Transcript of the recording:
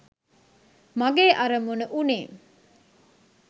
මගේ අරමුණ වුණේ